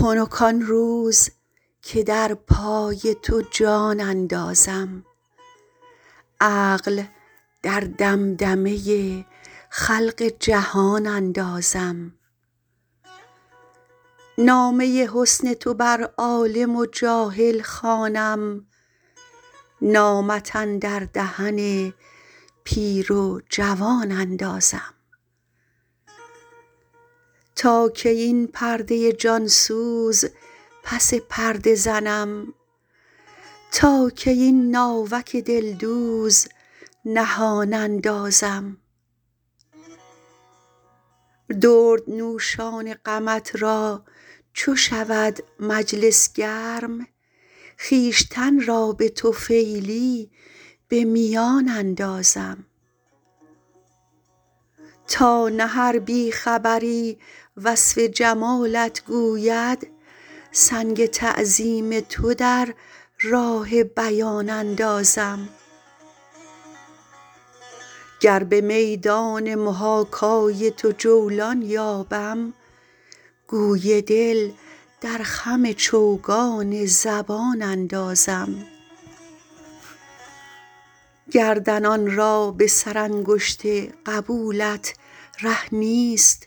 خنک آن روز که در پای تو جان اندازم عقل در دمدمه خلق جهان اندازم نامه حسن تو بر عالم و جاهل خوانم نامت اندر دهن پیر و جوان اندازم تا کی این پرده جان سوز پس پرده زنم تا کی این ناوک دلدوز نهان اندازم دردنوشان غمت را چو شود مجلس گرم خویشتن را به طفیلی به میان اندازم تا نه هر بی خبری وصف جمالت گوید سنگ تعظیم تو در راه بیان اندازم گر به میدان محاکای تو جولان یابم گوی دل در خم چوگان زبان اندازم گردنان را به سرانگشت قبولت ره نیست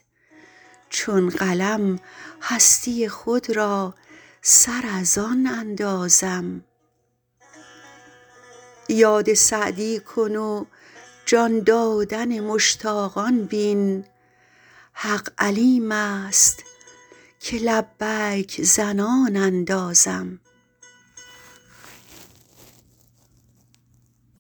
چون قلم هستی خود را سر از آن اندازم یاد سعدی کن و جان دادن مشتاقان بین حق علیم است که لبیک زنان اندازم